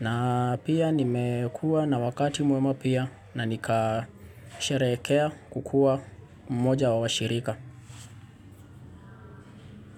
na pia nimekua na wakati mwema pia na nikasherekea kukua mmoja wa washirika.